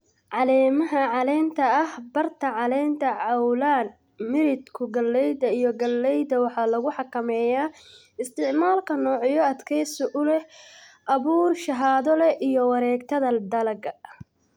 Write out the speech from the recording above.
"Caleemaha caleenta ah, barta caleenta cawlan, miridhku galleyda iyo gallayda waxaa lagu xakameeyaa isticmaalka noocyo adkaysi u leh, abuur shahaado leh, iyo wareegtada dalagga."